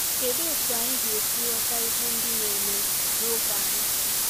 Kedụ otú anyị ga-esi ghọta ihe ndị na-eme n’oge anyị?